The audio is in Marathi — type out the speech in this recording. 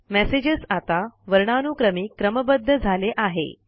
मेसेजस आता वर्णानुक्रमी क्रमबद्ध झाले आहे